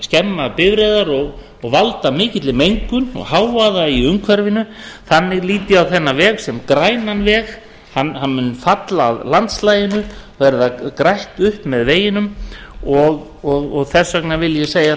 skemma bifreiðar og valda mikilli mengun og hávaða í umhverfinu þannig lít ég á þennan veg sem grænan veg hann mun falla að landslaginu verða grænt upp með veginum og þess vegna vil ég segja